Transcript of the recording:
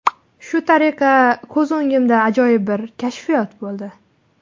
Shu tariqa ko‘z o‘ngimda ajoyib bir kashfiyot bo‘ldi.